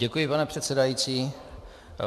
Děkuji, pane předsedající.